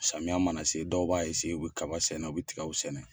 Samiya mana se dɔw b'a u bɛ kaba sɛnɛ, u bɛ tigɛ sɛnɛ.